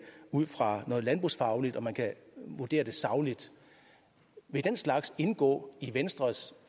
ud fra noget landbrugsfagligt og man kan vurdere det sagligt vil den slags indgå i venstres